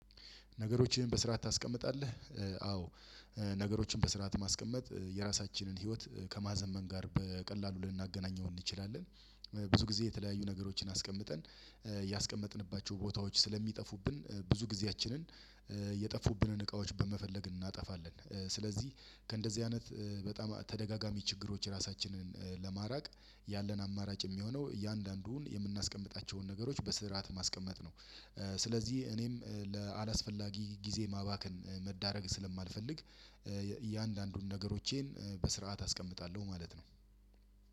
ነገሮችን በስርዓት ታስቀምጣለህ? አዎ ነገሮችን በስርዓት ማስቀመጥ የራሳችንን ህይወት ከማዘመን ጋር በቀላሉ ልናገናኘው እንችላለን። ብዙ ጊዜ የተለያዩ ነገሮችን አስቀምጠን ያስቀመጥንባቸው ቦታዎች ስለሚጠፉብን ብዙ ጊዜያችንን የጠፉብንን እቃዎች በመፈለግ እናጠፋለን። ስለዚህ ከእንደዚህ አይነት በጣም ተደጋጋሚ ችግሮች ራሳችንን ለማራቅ ያለን አማራጭ የሚሆነው እያንዳንዱን የምናስቀምጣቸውን ነገሮች በስርዓት ማስቀመጥ ነው። ስለዚህ እኔም ለአላስፈላጊ ጊዜ ማባከን መዳረግ ስለማልፈልግ እያንዳንዱን ነገሮቼን በስርዓት አስቀምጣለሁ ማለት ነው።